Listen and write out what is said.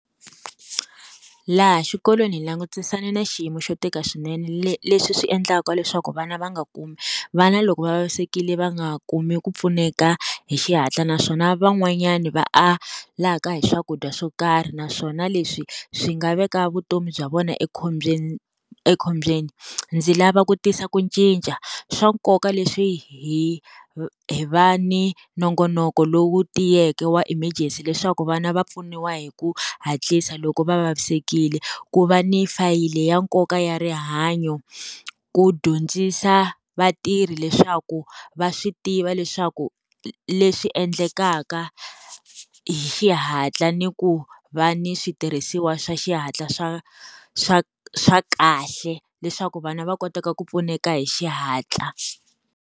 Laha xikolweni hi langutisane na xiyimo xo tika swinene, leswi swi endlaka leswaku vana va nga kumi vana loko va vavisekile va nga kumi ku pfuneka hi xihatla naswona van'wanyani va alaka hi swakudya swo karhi. Naswona leswi swi nga veka vutomi bya vona ekhombyeni, ekhombyeni. Ndzi lava ku tisa ku cinca swa nkoka leswi hi hi va ni nongonoko lowu tiyeke wa emergency leswaku vana va pfuniwa hi ku hatlisa, loko va vavisekile ku va ni fayili ya nkoka ya rihanyo. Ku dyondzisa vatirhi leswaku va swi tiva va leswaku leswi endlekaka hi xihatla ni ku va ni switirhisiwa swa xihatla swa swa swa kahle leswaku vana va koteka ku pfuneka hi xihatla.